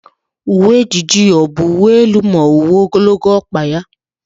Uwe ejiji ya ọ bụ uwe elu na uwe ogologo ọkpa ya?